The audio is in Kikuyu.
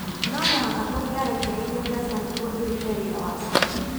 Mo mũhaka tungĩarekereirie mbeca nĩguo irute wĩra wa cio